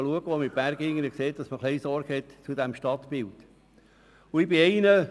Deswegen muss man auch etwas zum Stadtbild Sorge tragen.